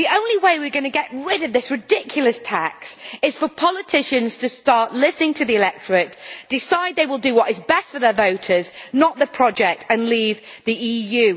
The only way we are going to get rid of this ridiculous tax is for politicians to start listening to the electorate, decide they will do what is best for their voters, not the project, and leave the EU.